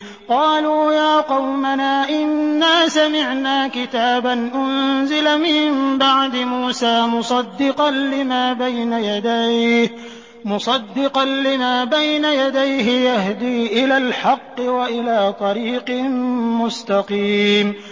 قَالُوا يَا قَوْمَنَا إِنَّا سَمِعْنَا كِتَابًا أُنزِلَ مِن بَعْدِ مُوسَىٰ مُصَدِّقًا لِّمَا بَيْنَ يَدَيْهِ يَهْدِي إِلَى الْحَقِّ وَإِلَىٰ طَرِيقٍ مُّسْتَقِيمٍ